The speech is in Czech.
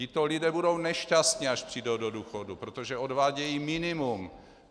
Tito lidé budou nešťastní, až přijdou do důchodu, protože odvádějí minimum.